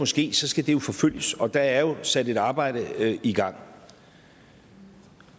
ske skal det forfølges og der er jo sat et arbejde i gang